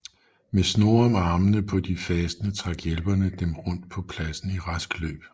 Med snore om armene på de fastende trak hjælperne dem rundt på pladsen i rask løb